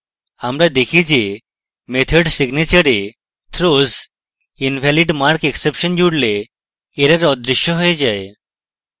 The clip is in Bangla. আমরা দেখি যে method signature we throws invalidmarkexception জুড়লে error অদৃশ্য we যায়